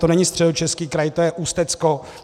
To není Středočeský kraj, to je Ústecko.